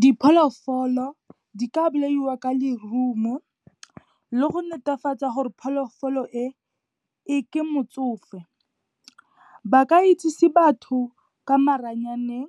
Dipholofolo di ka bolaiwa ka lerumo le go netefatsa gore pholofolo e, ke motsofe. Ba ka itsise batho ka maranyaneng